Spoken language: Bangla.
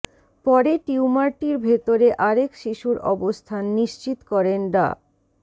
পরে টিউমারটির ভেতরে আরেক শিশুর অবস্থান নিশ্চিত করেন ডা